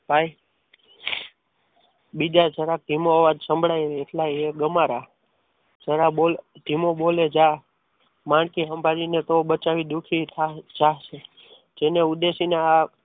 ભાઈ બીજા જરાક ધીમો અવાજ સંભળાય ને એટલા એ ગમારા જરા બોલ ધીમો બોલે જા માંડકી સંભાળીને બિચારી જાશે જેને ઉદ્દેશીને આ